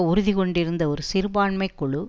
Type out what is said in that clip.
உறுதி கொண்டிருந்த ஒரு சிறுபான்மை குழு